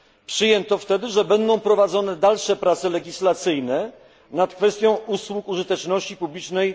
Przyjęto wtedy, że w przyszłości będą prowadzone dalsze prace legislacyjne nad kwestią usług użyteczności publicznej.